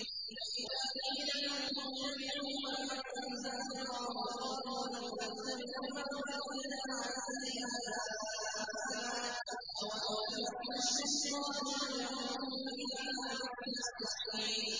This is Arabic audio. وَإِذَا قِيلَ لَهُمُ اتَّبِعُوا مَا أَنزَلَ اللَّهُ قَالُوا بَلْ نَتَّبِعُ مَا وَجَدْنَا عَلَيْهِ آبَاءَنَا ۚ أَوَلَوْ كَانَ الشَّيْطَانُ يَدْعُوهُمْ إِلَىٰ عَذَابِ السَّعِيرِ